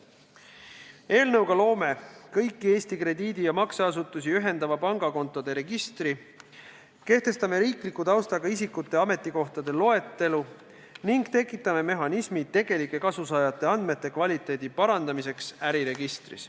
Eelnõuga loome kõiki Eesti krediidi- ja makseasutusi ühendava pangakontode registri, kehtestame riikliku taustaga isikute ametikohtade loetelu ning tekitame mehhanismi tegelike kasusaajate andmete kvaliteedi parandamiseks äriregistris.